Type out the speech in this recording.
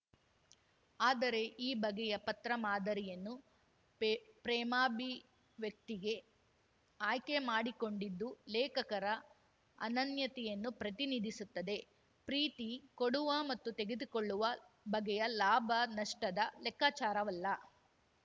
ಆದರೆ ಈ ಬಗೆಯ ಪತ್ರ ಮಾದರಿಯನ್ನು ಪೇ ಪ್ರೇಮಾಭಿವ್ಯಕ್ತಿಗೆ ಆಯ್ಕೆ ಮಾಡಿಕೊಂಡಿದ್ದು ಲೇಖಕರ ಅನನ್ಯತೆಯನ್ನು ಪ್ರತಿನಿಧಿಸುತ್ತದೆ ಪ್ರೀತಿ ಕೊಡುವ ಮತ್ತು ತೆಗೆದುಕೊಳ್ಳುವ ಬಗೆಯ ಲಾಭ ನಷ್ಟದ ಲೆಕ್ಕಾಚಾರವಲ್ಲ